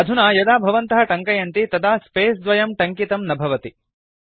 अधुना यदा भवन्तः टङ्कयन्ति तदा स्पेस द्वयं टङ्कितं न भवति